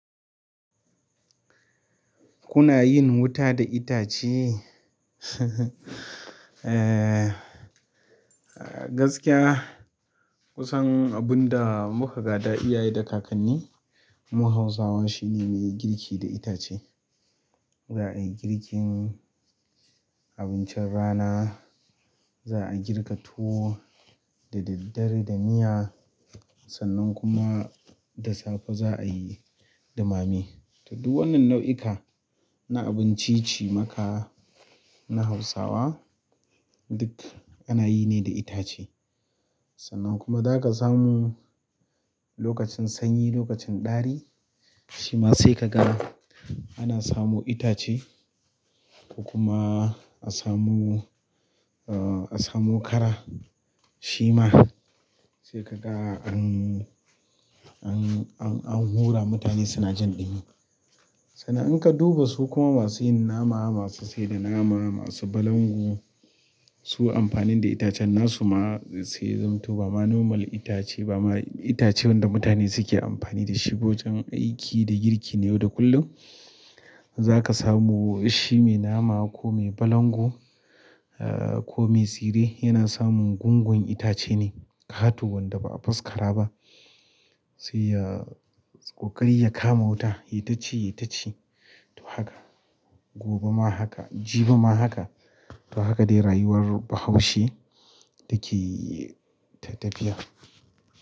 Kuna yin wuta da itace? Gaskiya. Kun san abun da muka gada iyaye da kakanni, muka zo muka samu shi ne muyi girki da itace. Za a yi girkin abincin rana, za a girka tuwo da daddare da miya, sannan kuma da safe za a yi ɗumame. To duk wannan nau'ika na abinci cimaka na Hausawa duk ana yi ne da itace. Sannan kuma za ka samu lokacin sanyi, lokacin ɗari, shima sai ka ga ana samu itace kuma a samu, a samu ƙara shima sai ka ga an, an, an hura mutane suna jin dini. Sannan in ka duba su kuma masu yin nama, masu sayar da nama, masu balangu, su amfanin da itacen nasu ma sai zanto ba ma nomal itace ba ma itace da mutane suke amfani da shi wajen aiki da girki ne yau da kullum. Za ka samu shi mai nama ko mai balangu, ah ko mai tsire yana samun gungun itace ne. Ƙato wanda ba a faskara ba sai ya ƙoƙari ya kama wuta, yai taci, yai taci. To haka, gobe ma haka, jibi ma haka. To haka dai rayuwar Bahaushe dake ta tafiya.